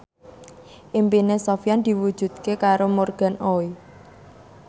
impine Sofyan diwujudke karo Morgan Oey